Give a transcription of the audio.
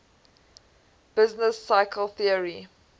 business cycle theory